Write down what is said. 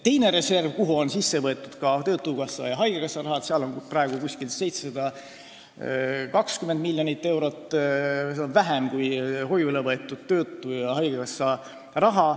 Teise reservi on võetud ka töötukassa ja haigekassa raha, seal on praegu umbes 720 miljonit eurot, seda on vähem kui hoiule võetud töötukassa ja haigekassa raha.